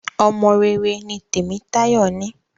Ọmọ rere mí Temitayo ní.